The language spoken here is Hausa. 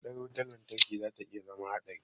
Mahaɗar wutar lantarki zata iya zama haɗari.